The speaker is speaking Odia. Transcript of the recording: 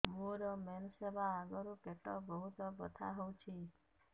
ମୋର ମେନ୍ସେସ ହବା ଆଗରୁ ପେଟ ବହୁତ ବଥା ହଉଚି